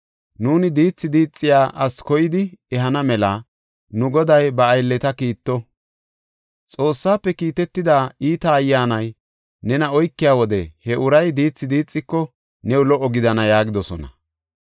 Nuuni diithi diixiya asi koyidi ehana mela nu goday ba aylleta kiitto. Xoossaafe kiitetida iita ayyaanay nena oykiya wode he uray diithi diixiko new lo77o gidana” yaagidosona.